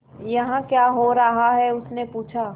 यहाँ क्या हो रहा है उसने पूछा